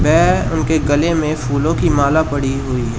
वे उनके गले में फूलों की माला पड़ी हुई है।